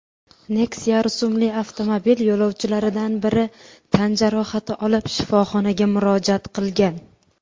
Nexia rusumli avtomobil yo‘lovchilaridan biri tan jarohati olib shifoxonaga murojaat qilgan.